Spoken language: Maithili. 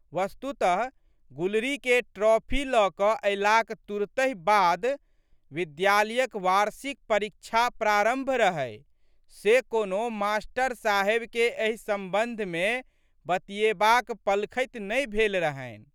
वस्तुतः गुलरीके ट्रॉपी ल क अयलाक तुरतहि बाद विद्यालयक वार्षिक परीक्षा प्रारंभ रहै से कोनो मास्टर साहेबके एहि संबंधमे बतियेबाक पलखति नहि भेल रहनि।